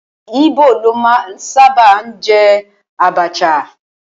Íbò ló sábà máa ń jẹ àbàchà